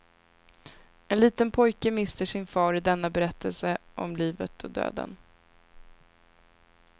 En liten pojke mister sin far i denna berättelse om livet och döden.